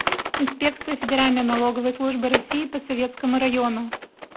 инспекция федеральной налоговой службы россии по советскому району